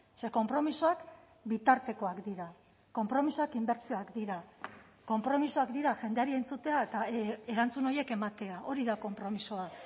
ze konpromisoak bitartekoak dira konpromisoak indartzeak dira konpromisoak dira jendeari entzutea eta erantzun horiek ematea hori da konpromisoa